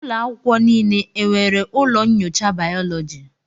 Ụlọ akwụkwọ niile e nwere ụlọ nyocha bayoloji